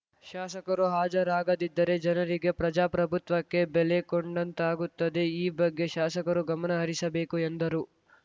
ಶಾಸಕರು ಹಾಜರಾಗದಿದ್ದರೆ ಜನರಿಗೆ ಪ್ರಜಾಪ್ರಭುತ್ವಕ್ಕೆ ಬೆಲೆ ಕೊಡಂತಾಗುತ್ತದೆ ಈ ಬಗ್ಗೆ ಶಾಸಕರು ಗಮನ ಹರಿಸಬೇಕು ಎಂದರು